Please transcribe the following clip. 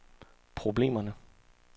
problemerne